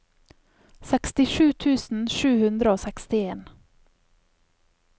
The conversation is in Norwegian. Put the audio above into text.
sekstisju tusen sju hundre og sekstien